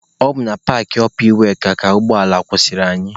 Ọ bụ na paakị ọpa iweka ka ụgbọ ala kwụsịrị anyị.